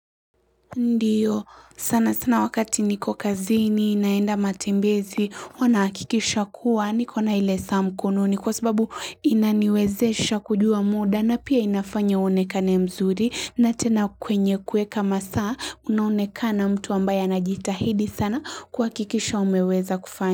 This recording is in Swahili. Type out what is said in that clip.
Ndiyo sana sana wakati niko kazini naenda matembezi huwa nahakikisha kuwa nikona ile saa mkononi kwa sababu inaniwezesha kujua muda na pia inafanya uonekane mzuri na tena kwenye kueka masaa unaonekana mtu ambaye anajitahidi sana kwa kuhakikisha umeweza kufanya.